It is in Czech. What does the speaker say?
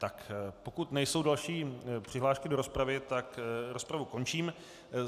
Tak pokud nejsou další přihlášky do rozpravy, tak rozpravu končím.